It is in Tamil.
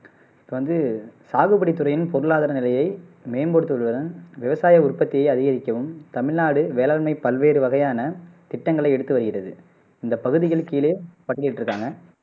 இப்ப வந்து சாகுபடி துறையின் பொருளாதார நிலையை மேம்படுத்துவதுடன் விவசாய உற்பத்தியை அதிகரிக்கவும் தமிழ்நாடு வேளாண்மை பல்வேறு வகையான திட்டங்களை எடுத்து வருகிறது இந்த பகுதிகள் கீழே பட்டியலிட்டுருக்காங்க